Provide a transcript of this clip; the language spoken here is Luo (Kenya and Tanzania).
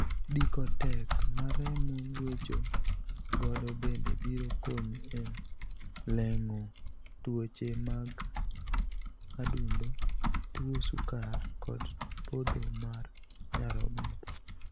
Diko teko ma remo gwecho godo bende biro konyi e leng'o tuoche mag adundo, tuo sukar, kod podho mar nyarogno.